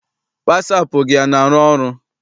Wasaapụ gị ana arụ ọrụ?